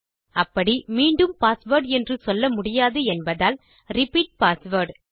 அப்படி மீண்டும் பாஸ்வேர்ட் என்று சொல்ல முடியாது என்பதால் ரிப்பீட் பாஸ்வேர்ட்